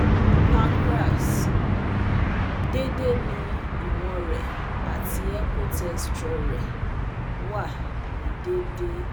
Pancreas: Dede ni iwọn rẹ ati ekotexture rẹ wa ni deede